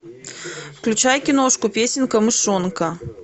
включай киношку песенка мышонка